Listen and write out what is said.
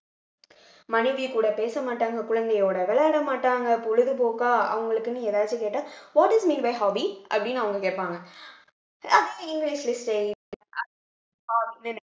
மனைவிகூட பேசமாட்டாங்க குழந்தையோட விளையாடமாட்டாங்க பொழுதுபோக்கா அவங்களுக்குன்னு ஏதாச்சும் கேட்டா what is mean by hobby அப்படின்னு அவங்க கேப்பாங்க இங்கிலிஷ்ல saying